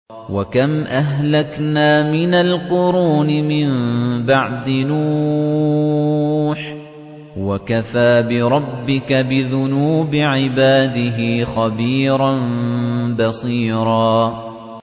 وَكَمْ أَهْلَكْنَا مِنَ الْقُرُونِ مِن بَعْدِ نُوحٍ ۗ وَكَفَىٰ بِرَبِّكَ بِذُنُوبِ عِبَادِهِ خَبِيرًا بَصِيرًا